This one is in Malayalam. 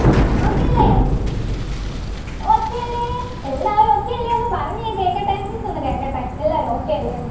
okay ല്ലേ okay ല്ലേ എല്ലാവരും okay അല്ലെ ഒന്ന് പറഞ്ഞെ കേക്കട്ടെ miss ഒന്ന് കേക്കട്ടെ എല്ലാരും okay അല്ലെന്ന്